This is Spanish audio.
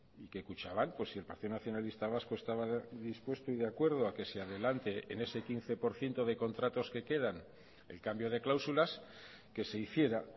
y que kutxabank pues si el partido nacionalista vasco estaba dispuesto y de acuerdo a que se adelante en ese quince por ciento de contratos que quedan el cambio de cláusulas que se hiciera